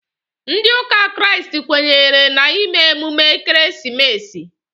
Ndị ụka Kraịst kwenyere na ime emume ekeresimesi